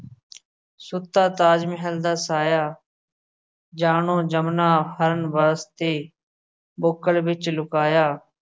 ਸੁੱਤਾ ਤਾਜ ਮਹਿਲ ਦਾ ਸਾਇਆ ਜਾਣੋ ਜਮਨਾ ਹਰਣ ਵਾਸਤੇ ਬੁੱਕਲ ਵਿੱਚ ਲੁਕਾਇਆ।